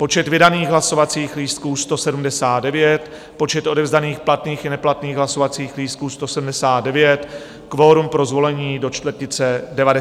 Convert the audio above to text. Počet vydaných hlasovacích lístků 179, počet odevzdaných platných i neplatných hlasovacích lístků 179, kvorum pro zvolení - do čtvrtice 90 hlasů.